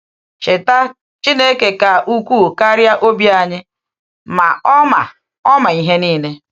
Cheta, ‘Chineke ka ukwuu karịa obi anyị, ma Ọ ma Ọ ma ihe niile.’